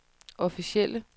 officielle